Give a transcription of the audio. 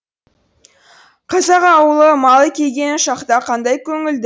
қазақ ауылы мал келген шақта қандай көңілді